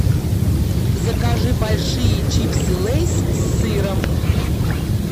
закажи большие чипсы лейс с сыром